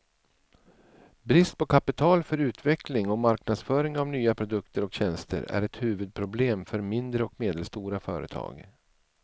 Brist på kapital för utveckling och marknadsföring av nya produkter och tjänster är ett huvudproblem för mindre och medelstora företag.